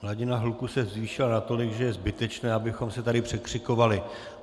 Hladina hluku se zvýšila natolik, že je zbytečné abychom se tady překřikovali.